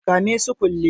Kame su kulle